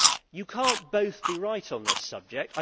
You cannot both be right on this subject.